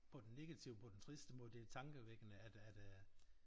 På den negative på den triste måde det tankevækkende at at øh